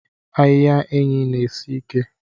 Ahiha enyi na esi ike.